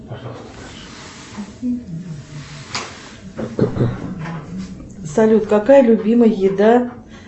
салют какая любимая еда